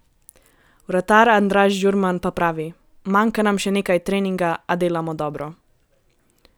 Vratar Andraž Žurman pa pravi: "Manjka nam še nekaj treninga, a delamo dobro.